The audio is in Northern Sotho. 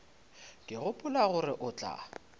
ke gopola gore o tla